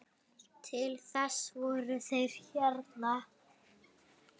Til þess voru þeir hérna.